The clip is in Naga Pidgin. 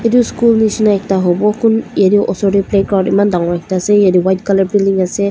etu school nisna ekta hobo kun yaddae ushor teh playground eman dangor ekta ase etu white colour filling ase.